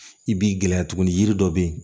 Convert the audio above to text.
I b'i gɛlɛya tuguni yiri dɔ be yen